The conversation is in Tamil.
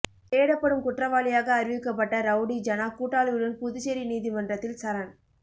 தேடப்படும் குற்றவாளியாக அறிவிக்கப்பட்ட ரவுடி ஜனா கூட்டாளியுடன் புதுச்சேரி நீதிமன்றத்தில் சரண்